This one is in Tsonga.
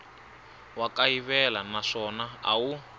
wa kayivela naswona a wu